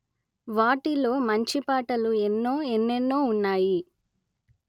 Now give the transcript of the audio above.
వాటిలో మంచిపాటలు ఎన్నో ఎన్నెన్నో ఉన్నాయి